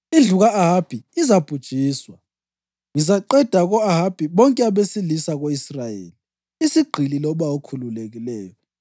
Indlu ka-Ahabi izabhujiswa. Ngizaqeda ko-Ahabi bonke abesilisa ko-Israyeli, isigqili loba okhululekileyo.